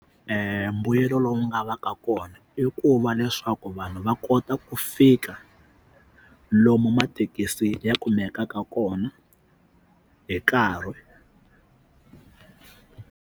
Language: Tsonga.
mbuyelo lowu nga va ka kona i ku va leswaku vanhu va kota ku fika lomu mathekisi ya kumekaka kona hi nkarhi.